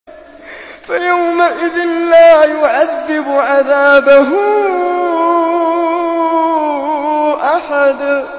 فَيَوْمَئِذٍ لَّا يُعَذِّبُ عَذَابَهُ أَحَدٌ